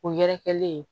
O yɛrɛkɛlen